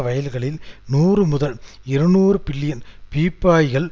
வயல்களில் நூறு முதல் இருநூறு பில்லியன் பீப்பாய்கள்